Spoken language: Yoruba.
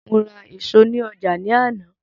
Mo ra èso ní ọjà ní àná